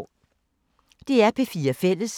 DR P4 Fælles